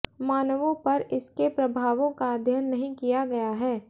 मानवों पर इसके प्रभावों का अध्ययन नहीं किया गया है